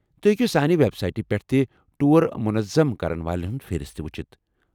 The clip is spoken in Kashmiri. تُہۍ ہیكِو سانہِ ویب سایٹہِ پیٹھ تہِ ٹوٗر مُنظم كرن والین ہُند فہرِست وُچھِتھ ۔